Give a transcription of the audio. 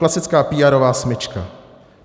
Klasická píárová smyčka.